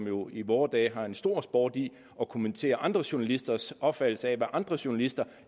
jo i vore dage en stor sport i at kommentere andre journalisters opfattelse af hvad andre journalister